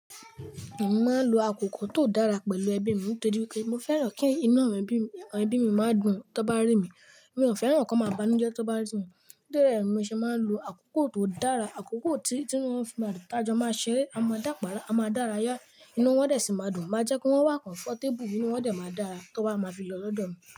Mo máa ń lo àkókò tó dára pẹ̀lú ẹbí mi nitorí wipé mo fẹ́ràn kí inu awon ẹbí mi máa dùn tó bá rí mi. Mi ò fẹ́ràn kí wọ́n máa banújẹ́ tó bá rí mi. Nítorí rẹ̀, mo ṣe máa ń lo àkókò tó dára, àkókò tí wọ́n fi máa tajọ máa ṣeré. A máa dàpàára, a máa dárayá. Inú wọn dẹ̀ sì máa dùn, máa jẹ́ kí wọ́n wà comfortable, inú wọn dẹ̀ máa dára tó bá máa fi lọ lọ́dọ̀ mi.